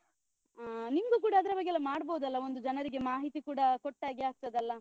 ಆ ನಿಮ್ಗು ಕೂಡ ಅದ್ರ ಬಗ್ಗೆ ಎಲ್ಲ ಮಾಡ್ಬೋದಲ್ಲ ಒಂದು ಜನರಿಗೆ ಮಾಹಿತಿ ಕೂಡ ಕೊಟ್ಟಾಗೆ ಆಗ್ತದಲ್ಲ?